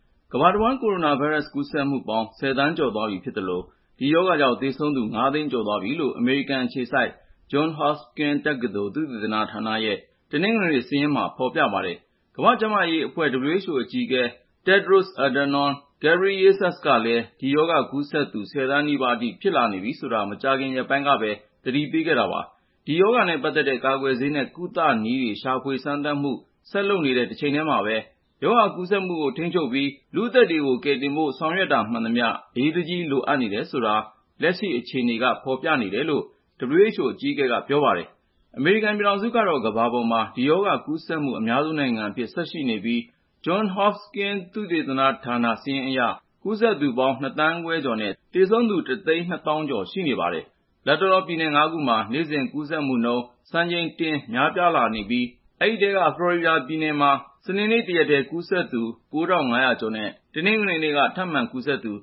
ကမ္ဘာတဝန်း ကိုရိုနာဗိုင်းရပ်စ် ကူးစက်မှုပေါင်း ၁၀ သန်းကျော်သွားပြီဖြစ်သလို ဒီရောဂါကြောင့် သေဆုံးသူ ၅ သိန်းကျော်သွားပြီလို့ အမေရိကန်အခြေစိုက် Johns Hopkins တက္ကသိုလ် သုတေသနဌာနရဲ့ တနင်္ဂနွေနေ့စာရင်းမှာ ဖော်ပြပါတယ်။ ကမ္ဘာ့ကျန်းမာရေးအဖွဲ့ (WHO) အကြီးအကဲ Tedros Adhanom Ghebreyesus ကလည်း ဒီရောဂါကူးစက်သူ ၁၀ သန်းနီးပါးအထိ ဖြစ်လာနေပြီဆိုတာကို မကြာခင်ရက်ပိုင်းကပဲ သတိပေးခဲ့တာပါ။ ဒီရောဂါနဲ့ပတ်သက်တဲ့ ကာကွယ်ဆေးနဲ့ ကုသနည်းတွေ ရှာဖွေစမ်းသပ်မှု ဆက်လုပ်နေတဲ့ တချိန်တည်းမှာပဲ ရောဂါကူးစက်မှုကို ထိန်းချုပ်ပြီး လူ့အသက်ကို ကယ်တင်ဖို့ ဆောင်ရွက်တာမှန်သမျှ အရေးတကြီး လိုအပ်နေတယ်ဆိုတာကို လက်ရှိအခြေအနေက ဖော်ပြနေတယ်လို့လည်း WHO အကြီးအကဲက ပြောပါတယ်။ အမေရိကန်ပြည်ထောင်စုကတော့ ကမ္ဘာပေါ်မှာ ဒီရောဂါကူးစက်မှု အများဆုံးနိုင်ငံအဖြစ် ဆက်ရှိနေပြီး Johns Hopkins သုတေသနဌာန စာရင်းအရ ကူးစက်သူပေါင်း ၂ သန်းခွဲကျော်နဲ့ သေဆုံးသူ ၁ သိန်း ၂ သောင်းကျော် ရှိနေပါတယ်။ လတ်တလော ပြည်နယ် ၅ ပြည်နယ်မှာ နေ့စဉ်ကူးစက်မှုနှုန်း စံချိန်တင် များပြားလာနေပြီး ဒီအထဲက ဖလော်ရီဒါပြည်နယ်မှာ စနေနေ့ တနေ့တည်းမှာ ကူးစက်သူ ၉,၅၀၀ ကျော်ရှိပြီး တနင်္ဂနွေနေ့ကလည်း ထပ်မံကူးစက်သူ